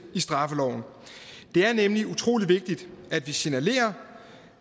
i straffeloven det er nemlig utrolig vigtigt at vi signalerer